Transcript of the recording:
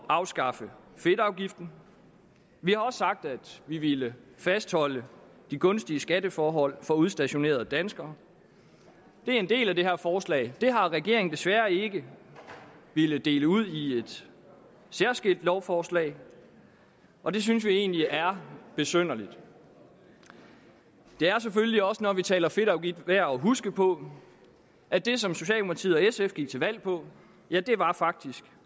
at afskaffe fedtafgiften vi har også sagt at vi ville fastholde de gunstige skatteforhold for udstationerede danskere det er en del af det her forslag det har regeringen desværre ikke villet dele ud i et særskilt lovforslag og det synes vi egentlig er besynderligt det er selvfølgelig også når vi taler fedtafgift værd at huske på at det som socialdemokratiet og sf gik til valg på faktisk